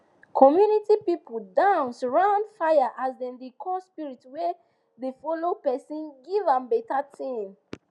community people dance round fire as dem dey call spirit wey dey follow person give am better thing